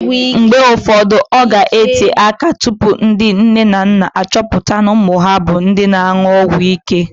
Mgbe ụfọdụ, ọ ga-ete áká tupu ndị nne na nna achọpụta na ụmụ ha bụ ndị na-an̄ụ ọgwụíké